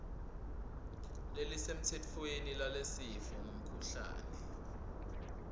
lelisemtsetfweni lalesifo ngumkhuhlane